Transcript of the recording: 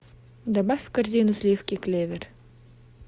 добавь в корзину сливки клевер